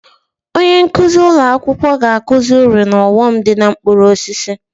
Onye nkuzi ụlọ akwụkwọ ga-akụzi uru na ọghọm dị na mkpụrụ osisi